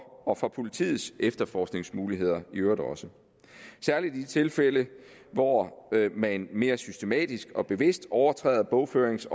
og for politiets efterforskningsmuligheder i øvrigt også særlig i de tilfælde hvor man mere systematisk og bevidst overtræder bogførings